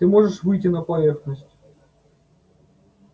ты можешь выйти на поверхность